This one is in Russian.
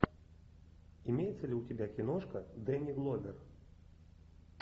имеется ли у тебя киношка дэнни гловер